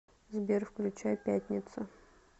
сбер включай пятница